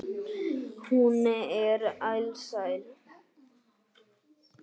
Hún er alsæl.